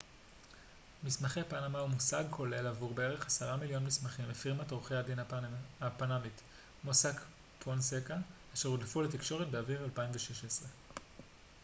מסמכי פנמה הוא מושג כולל עבור בערך עשרה מיליון מסמכים מפירמת עורכי הדין הפנמית מוסאק פונסקה אשר הודלפו לתקשורת באביב 2016